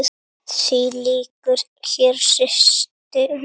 Því lýkur hér, systir mín.